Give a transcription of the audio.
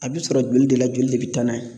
A bɛ sɔrɔ joli de la joli de be taa n'a ye.